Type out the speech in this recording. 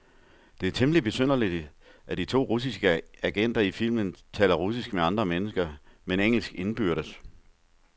Det er temmeligt besynderligt, at de to russiske agenter i filmen taler russisk med andre mennesker, men engelsk indbyrdes.